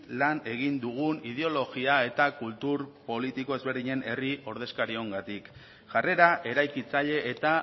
lan egin dugun ideologia eta kultur politiko ezberdinen herri ordezkariongatik jarrera eraikitzaile eta